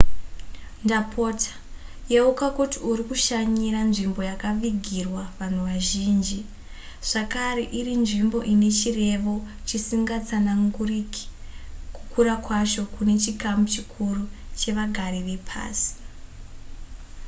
ndapota yeuka kuti uri kushanyira nzvimbo yakavigirwa vanhu vazhinji zvakare iri nzvimbo ine chirevo chisingatsananguriki kukura kwacho kune chikamu chikuru chevagari vepasi